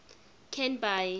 canby